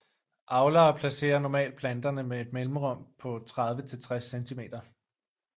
Avlere placerer normalt planterne med et mellemrum på 30 til 60 cm